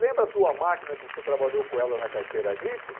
Lembra a tua máquina que você trabalhou com ela na carteira agrícola?